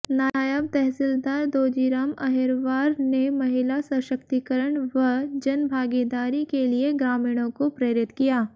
नायब तहसीलदार दौजीराम अहिरवार ने महिला सशक्तिकरण व जनभागीदारी के लिए ग्रामीणों को प्रेरित किया